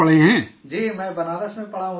جی میں بنارس میں پڑھا ہوں سر